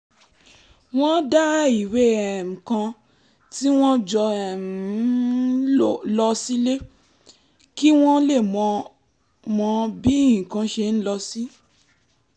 wọ́n dá ìwé um kan tí wọ́n jọ um ń lò sílẹ̀ kí wọ́n lè mọ mọ bí nǹkan ṣe ń lọ sí